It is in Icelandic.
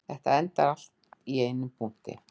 Þetta endar allt í einum punkti